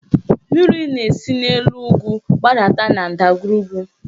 Mmiri na-esi n'elu ugwu gbadata na ndagwurugwu